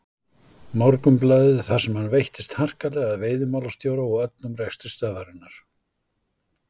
Morgunblaðið þar sem hann veittist harkalega að veiðimálastjóra og öllum rekstri stöðvarinnar.